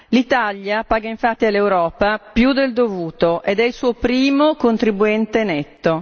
L'Italia paga infatti all'Europa più del dovuto ed è il suo primo contribuente netto.